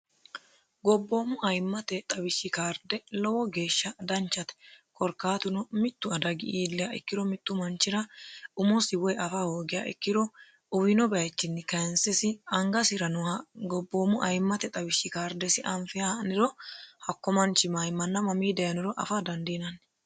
gobboommu ayimmate xawishshi kaarde lowo geeshsha danchate korkaatuno mittu adagi iilliya ikkiro mittu manchira umosi woy afa hoogiya ikkiro uwiino bayichinni kayinsesi angasira nooha gobboommu ayimmate xawishshi kardesi anfihe ha'niro hakko manchi mayimanna mamii dayinoro afa dandiinanni